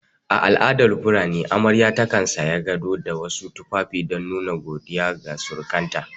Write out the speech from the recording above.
A al'adar fulani amarya takan saya gado da wasu tufafi don nuna godiya ga surukanta